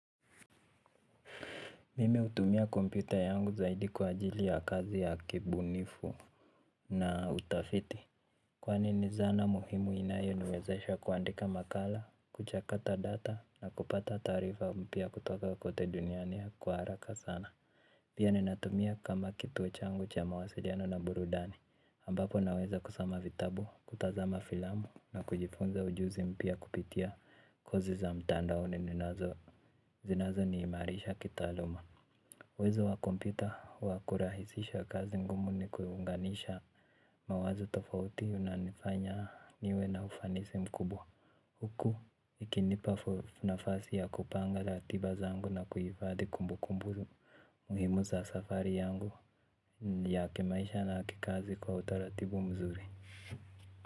Mimi hutumia kompyuta yangu zaidi kwa ajili ya kazi ya kibunifu na utafiti. Kwani ni zana muhimu inayoniwezesha kuandika makala, kuchakata data na kupata taarifa mpya kutoka kote duniani kwa haraka sana. Pia ninatumia kama kituo changu cha mawasiliano na burudani ambapo naweza kusoma vitabu, kutazama filamu na kujifunza ujuzi mpya kupitia kozi za mtandaoni zinazo nihimarisha kitaaluma uwezo wa kompyuta wa kurahisisha kazi ngumu ni kuunganisha mawazo tofauti unanifanya niwe na ufanisi mkubwa huku ikinipa nafasi ya kupanga ratiba zangu na kuhifadhi kumbukumbu muhimu za safari yangu ya kimaisha na kikazi kwa utaratibu mzuri.